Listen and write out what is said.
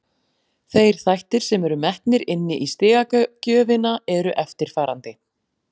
Þeir þættir sem eru metnir inni í stigagjöfina eru eftirfarandi: